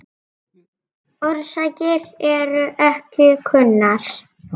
Orsakir eru ekki kunnar.